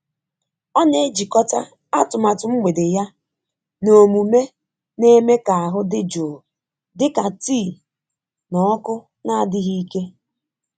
Ọ na-ejikọta atụmatụ mgbede ya na omume na-eme ka ahụ dị jụụ dịka tii na ọkụ na-adịghị ike.